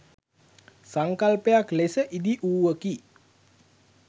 සංකල්පයක් ලෙස ඉදි වූවකි.